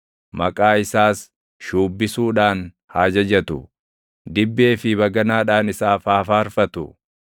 Maqaa isaas shuubbisuudhaan haa jajatu; dibbee fi baganaadhaan isaaf haa faarfatu.